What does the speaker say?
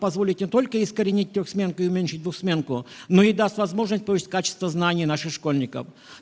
позволит не только искоренитель трехсменку и уменьшить двухсменку но и даст возможность повысить качество знаний наших школьников